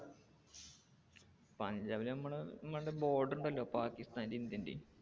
പഞ്ചാബിൽ നമ്മടെ border ഉണ്ടല്ലോ പാകിസ്താൻറേം ഇന്ത്യൻറേം.